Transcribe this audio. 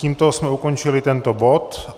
Tímto jsme ukončili tento bod.